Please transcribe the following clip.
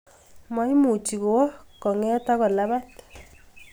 Maimuchi kowa kong'et ak ko lapat